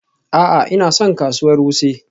A'a, Ina son kasuwar Wuse.